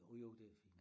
Jo jo det er fint